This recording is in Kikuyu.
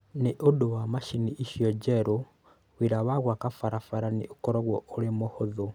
Nĩ ũndũ wa macini icio njerũ, wĩra wa gwaka barabara nĩ ũgũkorũo ũrĩ mũhũthũ.